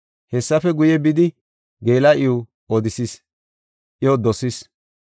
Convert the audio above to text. Hessafe guye, bidi geela7iw odisis; iyo dosis.